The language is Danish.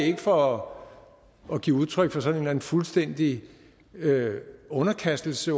ikke for at give udtryk for sådan en fuldstændig underkastelse